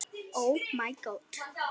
Við verðum hjálpa honum.